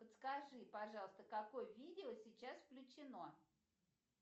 подскажи пожалуйста какое видео сейчас включено